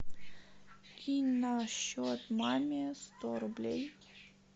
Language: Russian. кинь на счет маме сто рублей